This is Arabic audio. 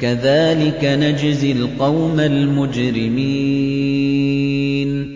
كَذَٰلِكَ نَجْزِي الْقَوْمَ الْمُجْرِمِينَ